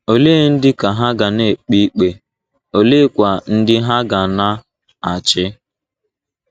Ole ndị ka ha ga na - ekpe ikpe, oleekwa ndị ha ga na - achị?